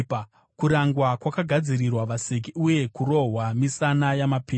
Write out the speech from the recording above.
Kurangwa kwakagadzirirwa vaseki, uye kurohwa misana yamapenzi.